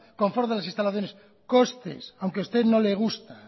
confort de las instalaciones costes aunque a usted no le gusta